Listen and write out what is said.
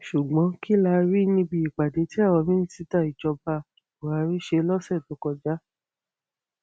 ṣùgbọn kí la rí níbi ìpàdé tí àwọn mínísítà ìjọba buhari ṣe lọsẹ tó kọjá